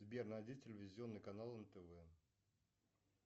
сбер найди телевизионный канал нтв